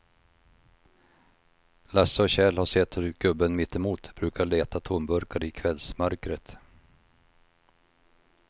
Lasse och Kjell har sett hur gubben mittemot brukar leta tomburkar i kvällsmörkret.